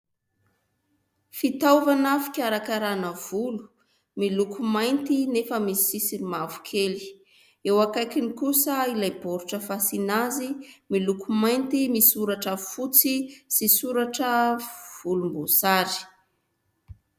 Fitaovana fikarakarana volo miloko mainty nefa misy sisiny mavokely. Eo akaikiny kosa ilay baoritra fasiana azy miloko mainty, misoratra fotsy sy soratra volomboasary.